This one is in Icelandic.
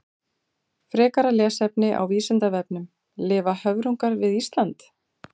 Frekara lesefni á Vísindavefnum: Lifa höfrungar við Ísland?